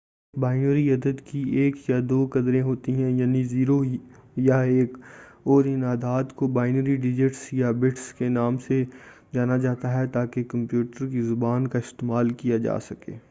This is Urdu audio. ایک بائنری عدد کی ایک یا دو قدریں ہوتی ہیں یعنی 0 یا 1 اور ان اعداد کو بائنری ڈیجٹس یا بٹس کے نام سے جانا جاتا ہے تاکہ کمپیوٹر کی زبان کا استعمال کیا جائے